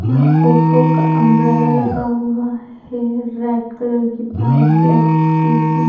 यहाँ ओप्पो का अंब्रेला लगा हुआ है रेड कलर की बाइक ब्लैक स्कूटी --